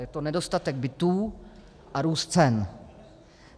Je to nedostatek bytů a růst cen.